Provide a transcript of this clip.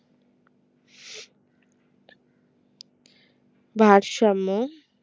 ভারসাম্য